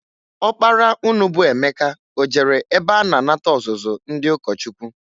Ọkpara unu bụ Emeka o jere ebe a na-anata ọzụzụ ndị ụkọchukwu?